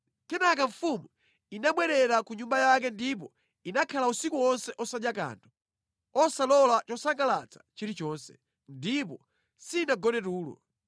Kenaka mfumu inabwerera ku nyumba yake ndipo inakhala usiku wonse osadya kanthu, osalola chosangalatsa chilichonse. Ndipo sinagone tulo.